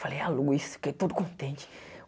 Falei, a Luz, fiquei todo contente.